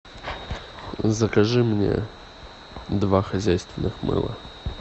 закажи мне два хозяйственных мыла